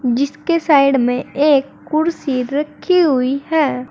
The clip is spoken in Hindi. जिसके साइड में एक कुर्सी रखी हुई है।